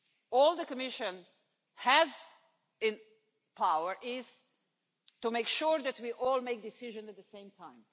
All the Commission has in its power is to make sure that we all make decisions at the same time.